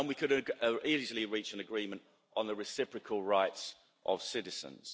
And we could easily reach an agreement on the reciprocal rights of citizens.